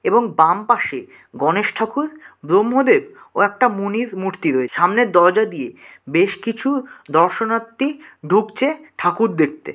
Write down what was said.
এবং বাম পাশে গণেশ ঠাকুর ব্রহ্মদেব ও একটা মনির মূর্তি রয়ে সামনে দরজা দিয়ে বেশ কিছু দর্শনার্থী ঢুকছে ঠাকুর দেখতে।